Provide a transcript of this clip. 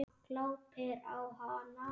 Glápir á hana.